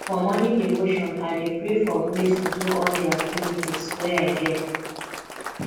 for morning devotion i dey pray for grace to do all di activities wey i get